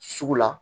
Sugu la